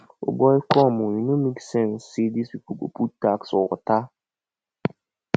o boy come oo e no make sense say dis people go put tax for water